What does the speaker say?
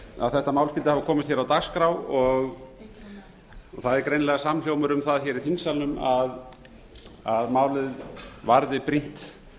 að þetta mál skyldi hafa komist hér á dagskrá það er greinilega samhljómur um það hér í þingsalnum að málið varði brýnt